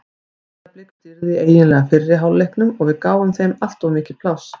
Breiðablik stýrði eiginlega fyrri hálfleiknum og við gáfum þeim of mikið pláss.